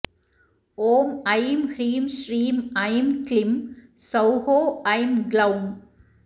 ॐ ऐं ह्रीं श्रीं ऐं क्लिं सौः ऐं ग्लौं